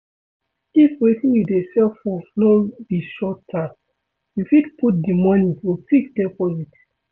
if wetin you dey save for no be short term you fit put di money for fixed deposit